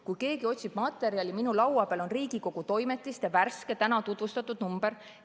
Kui keegi otsib materjali, siis minu laua peal on Riigikogu Toimetiste värske, täna tutvustatud number.